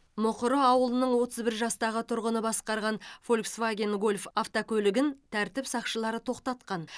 мұқыры ауылының отыз бір жастағы тұрғыны басқарған фольксваген гольф автокөлігін тәртіп сақшылары тоқтатқан